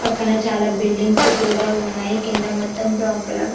పక్కన చాలా బిల్డింగ్ కూడా ఉన్నాయి కింద మొత్తం బ్రౌన్ కలర్ --